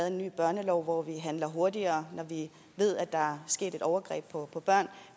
en ny børnelov hvor vi handler hurtigere når vi ved at der er sket et overgreb på børn